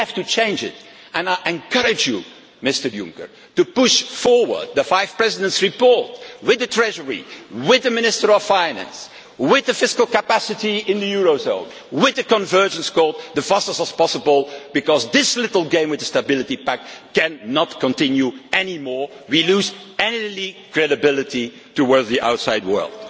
today. We have to change it and I encourage you, Mr Juncker, to push forward the Five Presidents' report with the Treasury, with the Minister of Finance, with the fiscal capacity in the eurozone, and with the convergence call as soon as possible because this little game with the Stability Pact cannot go on anymore. We will lose any credibility towards the outside